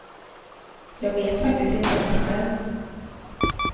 Jag vet faktiskt inte ens själv.